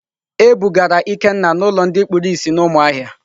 E bugara Ikenna n'ulo ndi kpuru umuahia.